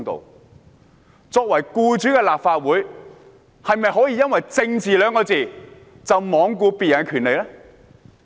立法會作為僱主，是否可以因為"政治"二字便罔顧別人的權利呢？